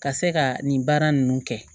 Ka se ka nin baara nunnu kɛ